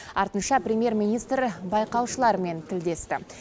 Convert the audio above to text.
артынша премьер министр байқаушылармен тілдесті